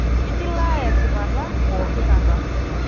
Ekilaaya esipata pooki kata.